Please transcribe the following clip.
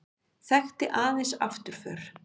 Þekkti aðeins afturför.